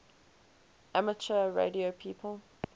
amateur radio people